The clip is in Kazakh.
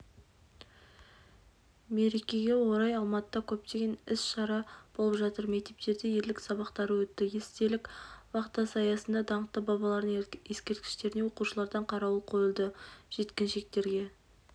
мерекеге орай алматыда көптеген іс-шара болып жатыр мектептерде ерлік сабақтары өтті естелік вахтасы аясында даңқты бабалардың ескерткіштеріне оқушылардан қарауыл қойылды жеткіншектерге